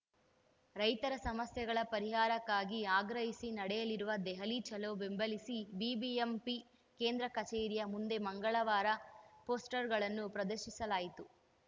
ರೈತರ ಸಮಸ್ಯೆಗಳ ಪರಿಹಾರಕ್ಕಾಗಿ ಆಗ್ರಹಿಸಿ ನಡೆಯಲಿರುವ ದೆಹಲಿ ಚಲೋ ಬೆಂಬಲಿಸಿ ಬಿಬಿಎಂಪಿ ಕೇಂದ್ರ ಕಚೇರಿಯ ಮುಂದೆ ಮಂಗಳವಾರ ಪೋಸ್ಟ್‌ರ್‌ಗಳನ್ನು ಪ್ರದರ್ಶಿಸಲಾಯಿತು